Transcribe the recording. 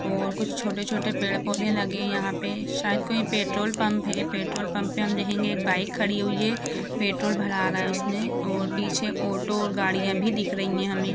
और कुछ छोटे-छोटे पेड़-पोधे लगे यहाँ पे शायद कोई पेट्रोल पंप है पेट्रोल पंप पे हम देखेंगे एक बाइक खाड़ी हुई है पेट्रोल भरा आ रहा है उसने और पिछे ऑटो और गाड़िया भी दिख रही है हमे।